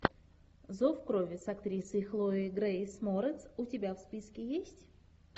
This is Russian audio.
зов крови с актрисой хлоей грейс морец у тебя в списке есть